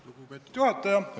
Lugupeetud juhataja!